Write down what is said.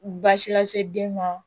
Baasi lase den ma